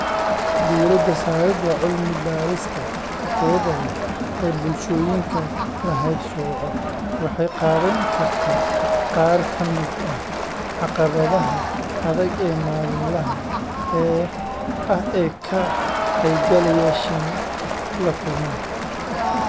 Diirada-saaridda cilmi-baadhista tayada leh ee bulshooyinka la haybsooco waxay qaabayn kartaa qaar ka mid ah caqabadaha adag ee maalinlaha ah ee ka qaybgalayaashani la kulmaan.